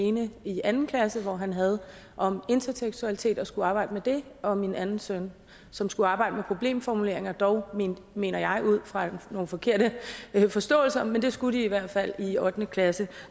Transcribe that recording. ene i anden klasse hvor han havde om intertekstualitet og skulle arbejde med det og min anden søn som skulle arbejde med problemformuleringer dog mener jeg ud fra nogle forkerte forståelser men det skulle de i hvert fald i ottende klasse